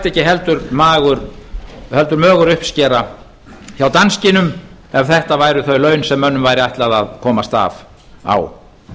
ekki nokkuð mögur uppskera hjá danskinum ef þetta væru þau laun sem mönnum væri ætlað að komast af á